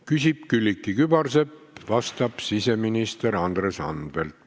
Küsib Külliki Kübarsepp, vastab siseminister Andres Anvelt.